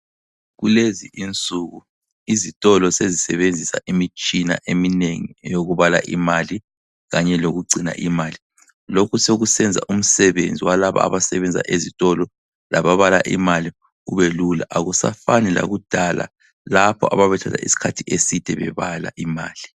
Kulezi insuku izitolo sezisebenzisa imitshina eminengi eyokubala imali kanye lokugcina imali, lokhu sokusenza umsebenzi walaba abasebenza ezitolo laba bala imali ubelula akusafani lakudala lapho ababethatha iskhathi eside bebala imali.